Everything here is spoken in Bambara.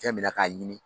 Fɛn min na k'a ɲini